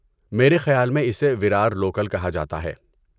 میرے خیال میں اسے ویرار لوکل کہا جاتا ہے۔